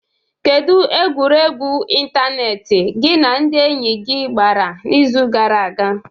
Kedu egwuregwu ịntanetị gị na ndị enyi gị gbara n'izu gara aga?